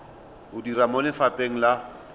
o dira mo lefapheng la